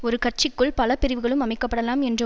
ஒரு கட்சிக்குள் பல பிரிவுகளும் அமைக்கப்படலாம் என்ற